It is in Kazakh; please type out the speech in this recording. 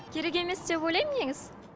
керек емес деп ойлаймын негізі